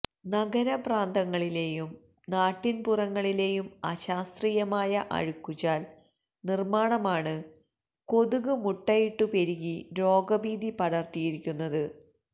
നഗരപ്രാന്തങ്ങളിലേയും നാട്ടിന്പുറങ്ങളിലേയും അശാസ്ത്രീയമായ അഴുക്കുചാല് നിര്മാണമാണ് കൊതുക് മുട്ടയിട്ടു പെരുകി രോഗഭീതി പടര്ത്തിയിരിക്കുന്നത്